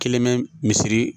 Kelen bɛ misiri